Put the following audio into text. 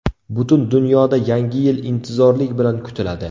Butun dunyoda Yangi yil intizorlik bilan kutiladi.